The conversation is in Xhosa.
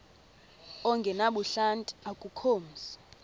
ongenabuhlanti akukho mzi